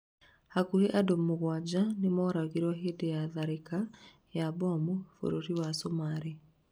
hakuhĩ andũ mũgwanja nĩmoragirwo hĩndĩ ya tharĩkĩra ya mbomũ bũrũri wa cũmarĩ